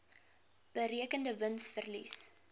berekende wins verlies